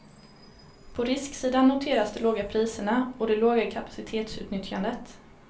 På risksidan noteras de låga priserna och det låga kapacitetsutnyttjandet.